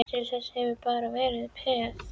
Til þessa hefurðu bara verið peð.